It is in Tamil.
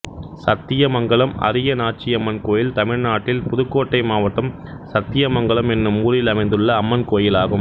சத்தியமங்கலம் அரியநாச்சியம்மன் கோயில் தமிழ்நாட்டில் புதுக்கோட்டை மாவட்டம் சத்தியமங்கலம் என்னும் ஊரில் அமைந்துள்ள அம்மன் கோயிலாகும்